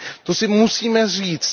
To si musíme říct.